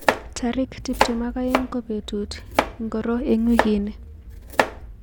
Tarij tuptem ak aeng ko betut ingiri eng wiki ni